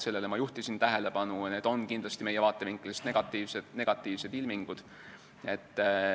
Sellele juhtisin ma tähelepanu ja need on kindlasti meie vaatevinklist negatiivsed ilmingud.